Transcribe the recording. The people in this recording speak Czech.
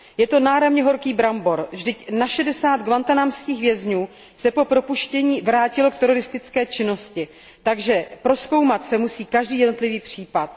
Je to náramně horký brambor, vždyť na 60 guantánamských vězňů se po propuštění vrátilo k teroristické činnosti, takže prozkoumat se musí každý jednotlivý případ.